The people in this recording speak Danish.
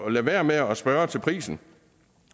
at lade være med at spørge til prisen